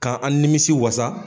K'an an nimisiwasa.